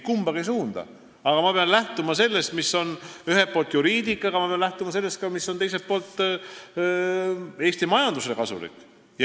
Ma pean ühelt poolt lähtuma juriidikast, aga teiselt poolt ka sellest, mis on Eesti majandusele kasulik.